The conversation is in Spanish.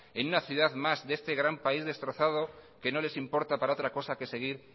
en una ciudad más de este gran país destrozado que no les importa para otra cosa que seguir